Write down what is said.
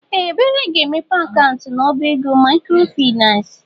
Ee! Ebere ga-emepe akaụntụ n'ọbá ego maịkrofaịnans.